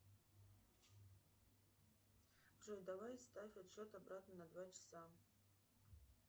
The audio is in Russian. джой давай ставь отсчет обратно на два часа